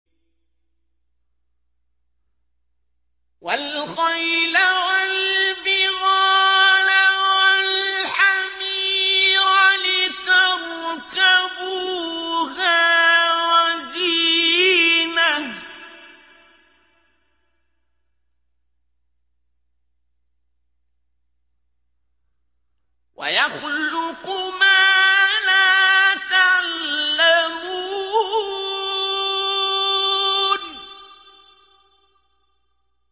وَالْخَيْلَ وَالْبِغَالَ وَالْحَمِيرَ لِتَرْكَبُوهَا وَزِينَةً ۚ وَيَخْلُقُ مَا لَا تَعْلَمُونَ